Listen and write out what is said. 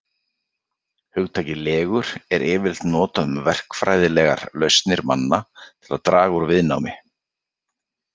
Hugtakið legur er yfirleitt notað um verkfræðilegar lausnir manna til að draga úr viðnámi.